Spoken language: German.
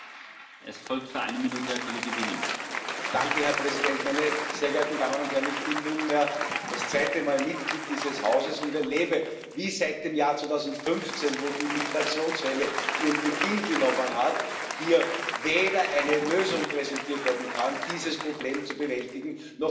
Herr Präsident, meine sehr geehrten Damen und Herren! Ich bin nunmehr das zweite Mal Mitglied dieses Hauses und erlebe, wie seit dem Jahr 2015, als die Migrationswelle ihren Beginn genommen hat, hier weder eine Lösung präsentiert werden kann, dieses Problem zu bewältigen, noch wir uns irgendwie einem besseren Zustand nähern.